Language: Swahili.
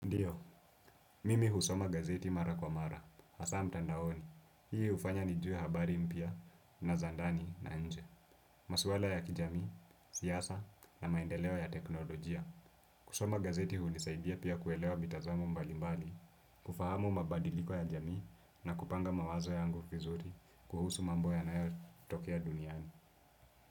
Ndiyo, mimi husoma gazeti mara kwa mara, hasa mtandaoni. Hii ufanya nijue habari mpya na za ndani na nje. Maswala ya kijamii, siasa na maendeleo ya teknolojia. Kusoma gazeti hunisaidia pia kuelewa mitazamo mbalimbali, kufahamu mabadiliko ya jamii na kupanga mawazo yangu vizuri, kuhusu mambo yanayotokea duniani.